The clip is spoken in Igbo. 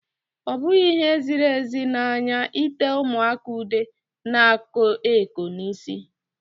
Ọ bụghị ihe ziri ezi n'anya ite ụmụaka ude na-eko eko n'isi.